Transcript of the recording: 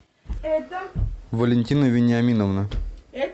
валентина вениаминовна